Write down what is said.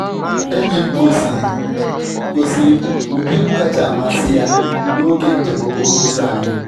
Enyi m gosiiri m gosiiri m ụdị egwu kacha amasị ya n’oge njem okporo ụzọ anyị.